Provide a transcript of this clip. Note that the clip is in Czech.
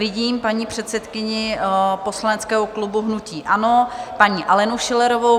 Vidím paní předsedkyni poslaneckého klubu hnutí ANO, paní Alenu Schillerovou.